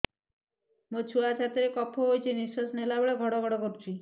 ମୋ ଛୁଆ ଛାତି ରେ କଫ ହୋଇଛି ନିଶ୍ୱାସ ନେଲା ବେଳେ ଘଡ ଘଡ କରୁଛି